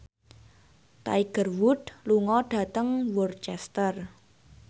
Tiger Wood lunga dhateng Worcester